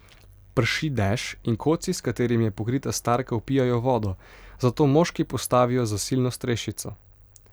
Prši dež in koci, s katerimi je pokrita starka, vpijajo vodo, zato moški postavijo zasilno strešico.